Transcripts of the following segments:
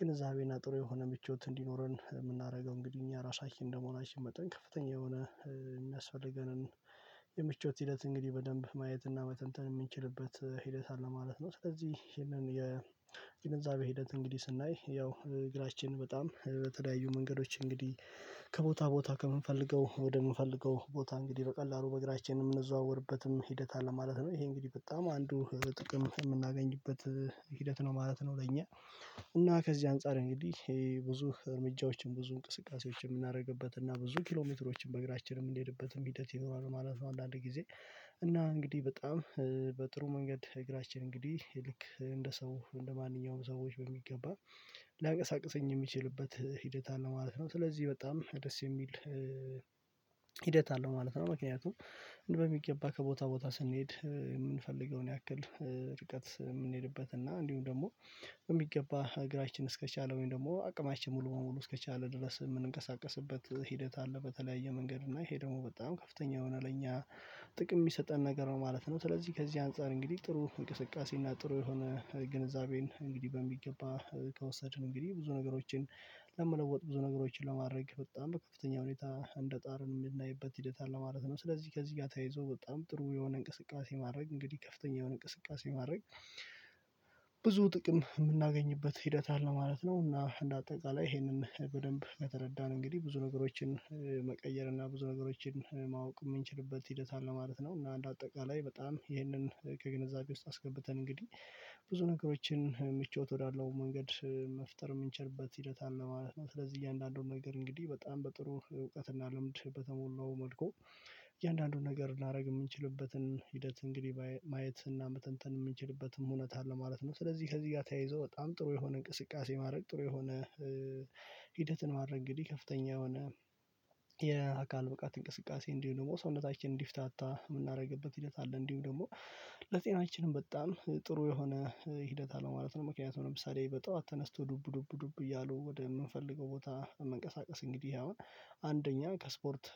ግንዛቤ እና ጥሩ የሆነ ምቾት እንዲኖረን እምናደርገው እንግዲህ እኛ ራሳችን እንደመሆናችን መጠን ከፍተኛ የሆነ እሚያስፈልገንን የምቾት ሂደት እንግዲህ በደንብ ማየት እና መተንተን እምንችልበት ሂደት አለ ማለት ነው። ስለዚህ ይሄንን የግንዛቤ ሂደት እንግዲህ ስናይ ያው እግራችን በጣም በተለያዩ መንገዶች እንግዲህ ከቦታ ቦታ ከምንፈልገው ወደምንፈልገው ቦታ እንግዲህ በቀላሉ በእግራችን እምንዘዋወርበትም ሂደት አለ ማለት ነው። ይሄ እንግዲህ በጣም አንዱ ጥቅም የምናገኝበት ሂደት ነው ማለት ነው። ለእኛ እና ከዚህ አንፃር እንግዲህ ብዙ እርምጃዎችን ብዙ እንቅስቃሴዎችን እምናደርግበት እና ብዙ ኪሎ ሜትሮችን በእግራችን እምንሄድበትም ሂደት ይኖራሉ ማለት ነው። አንዳንድ ጊዜ እና እንግዲህ በጣም በጥሩ መንገድ እግራችን እንግዲህ እንደ ሰው እንደማንኛውም ሰዎች በሚገባ ሊያቀሳቅሰኝ እሚችልበት ሂደት አለ ማለት ነው። ስለዚህ በጣም ደስ የሚል ሂደት አለው ማለት ነው። ምክንያቱም በሚገባ ከቦታ ቦታ ስንሄድ እምንፈልገውን ያክል ርቀት እምንሄድበት እና እንዲሁም ደግሞ በሚገባ እግራችን እስከቻለ ወይም ደግሞ አቅማችን ሙሉ በሙሉ እስከቻለ ድረስ እምንቀሳቀስበት ሂደት አለ በተለያየ መንገድ እና ይሄ ደግሞ በጣም ከፍተኛ የሆነ ለእኛ ጥቅም እሚሰጠን ነገር ነው ማለት ነው። ስለዚህ ከዚህ አንፃር እንግዲህ ጥሩ እንቅስቃሴ እና ጥሩ የሆነ ግንዛቤን እንግዲህ በሚገባ ከወሰድን እንግዲህ ብዙ ነገሮችን ለመለወጥ ብዙ ነገሮችን ለማድረግ በጣም በከፍተኛ ሁኔታ እንደ ጥረት እምናይበት ሂደት አለ ማለት ነው። ስለዚህ ከዚህ ጋር ተይዞ በጣም ጥሩ የሆነ እንቅስቃሴ ማድረግ እንግዲህ ከፍተኛ የሆነ እንቅስቃሴ ማረግ ብዙ ጥቅም እምናገኝበት ሂደት አለ ማለት ነው። እና እንደ አጠቃላይ ይሄንን በደንብ ከተረዳን እንግዲህ ብዙ ነገሮችን መቀየር እና ብዙ ነገሮችን ማወቅ እምንችልበት ሂደት አለ ማለት ነው። እና እንድ አጠቃላይ በጣም ይህንን ከግንዛቤ ውስጥ አስገብተን እንግዲህ ብዙ ነገሮችን ምቾት ወዳለው መንገድ መፍጠር እምንችልበት ሂደት አለ ማለት ነው። ስለዚህ እያንዳንዱን ነገር እንግዲህ በጣም በጥሩ እውቀት እና ልምድ በተሞላው መልኩ እያንዳንዱን ነገር ላደርግ እምንችልበትን ሂደት እንግዲህ ማየት እና መተንተን እምንችልበትም እውነት አለ ማለት ነው። ስለዚህ ከዚህ ጋር ተያይዞ በጣም ጥሩ የሆነ እንቅስቃሴ ማድረግ ጥሩ የሆነ ሂደት ማድረግ እንግዲህ ከፍተኛ የሆነ የአካል ብቃት እንቅስቃሴ እንዲሁም ደግሞ ሰውነታችን እንዲፍታታ እምናደርግበት ሂደት አለ እንዲሁ ደግሞ ለጤናችንም በጣም ጥሩ የሆነ ሂደት አለው ማለት ነው። ምክንያቱም ለምሳሌ በጧት ተነስቶ ዱብ ዱብ ዱብ እያሉ ወደ እምንፈልገው ቦታ መንቀሳቀስ እንግዲህ አሁን አንደኛ ከስፖርት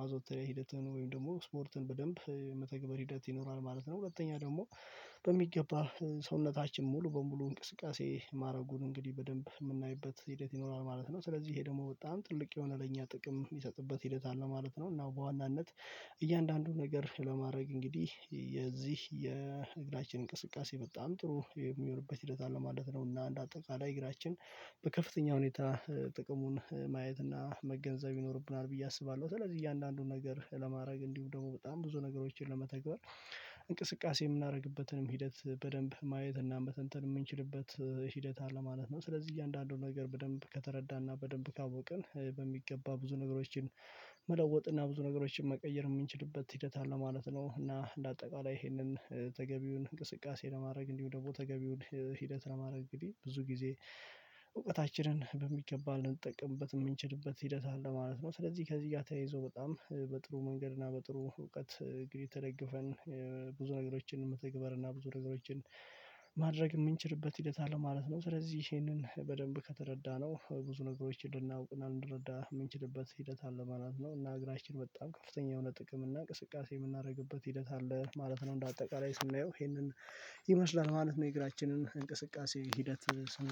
ማዘወተሪያ ሂደትን ወይም ደሞ ስፖርትን በደንብ መተግበር ሂደት ይኖራል ማለት ነው። ሁለተኛ ደግሞ በሚገባ ሰውነታችን ሙሉ በሙሉ እንቅስቃሴ ማረጉን እንግዲህ በደንብ እምናይበት ሂደት ይኖራል ማለት ነው። ስለዚህ ይሄ ደግሞ በጣም ትልቅ የሆነ ለኛ ጥቅም እሚሰጥበት ሂደት አለ ማለት ነው። እና በዋናነት እያንዳንዱን ነገር ለማድረግ እንግዲህ የዚህ የእግራችን እንቅስቃሴ በጣም ጥሩ የሚሆንበት ሂደት አለ ማለት ነው። እና እንደ አጠቃላይ እግራችን በከፍተኛ ሁኔታ ጥቅሙን ማየት እና መገንዘብ ይኖርብናል ብዬ አስባለሁ። ስለዚህ እያንዳንዱን ነገር ለማድረግ እንዲሁ ደግሞ በጣም ብዙ ነገሮችን ለመተግበር እንቅስቃሴ የምናደርግበትንም ሂደት በደንብ ማየት እና በተንተን እምንችልበት ሂደት አለ ማለት ነው። ስለዚህ እያንዳንዱን ነገር በደንብ ከተረዳንና በደንብ ካወቅን በሚገባ ብዙ ነገሮችን መለወጥና ብዙ ነገሮችን መቀየር የእምንችልበት ሂደት አለ ማለት ነው። እና እንደ አጠቃላይ ይሄንን ተገቢውን እንቅስቃሴ ለማድረግ እንዲሁ ደግሞ ተገቢውን ሂደት ለማድረግ እንግዲህ ብዙ ጊዜ እውቀታችንን በሚገባ ልንጠቀምበትም እምንችልበት ሂደት አለ ማለት ነው። ስለዚህ ከዚህ ጋ ተያይዞ በጣም በጥሩ መንገድ እና በጥሩ እውቀት እንግዲህ ተደግፈን ብዙ ነገሮችን መተግበር እና ብዙ ነገሮችን ማድረግ እምንችልበት ሂደት አለ ማለት ነው። ስለዚህ ይሄንን በደንብ ከተረዳነው ብዙ ነገሮች እንድናውቅ እንድንረዳ እምንችልበት ሂደት አለ ማለት ነው። እና እግራችን በጣም ከፍተኛ የሆነ ጥቅም እና እንቅስቃሴ የምናደርግበት ሂደት አለ ማለት ነው። እንደ አጠቃላይ ስናየው ይሄንን ይመስላል ማለት ነው። የእግራችንን እንቅስቃሴ ሂደት